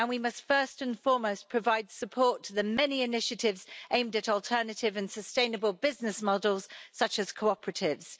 We must, first and foremost, provide support to the many initiatives aimed at alternative and sustainable business models, such as cooperatives.